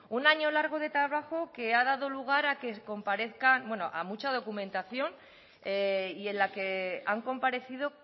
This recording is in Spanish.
un año largo de trabajo que ha dado lugar a que comparezcan bueno a mucha documentación y en la que han comparecido